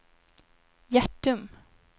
Hjärtum